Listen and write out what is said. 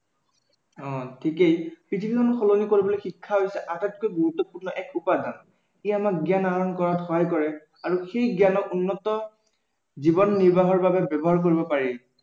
অ ঠিকেই পৃথিৱীখন সলনি কৰিবলৈ শিক্ষা হৈছে আটাইতকৈ গুৰুত্বপূৰ্ণ এক উপায়। ই আমাক জ্ঞান আহৰণ কৰাত সহায় কৰে আৰু সেই জ্ঞানক উন্নত জীৱন নিৰ্বাহৰ বাবে ব্য়ৱহাৰ কৰিব পাৰি